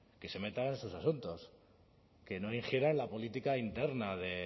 que se meta en sus asuntos que no ingiera en la política interna de